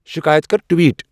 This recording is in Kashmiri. شِکایَت کَر ٹویٹ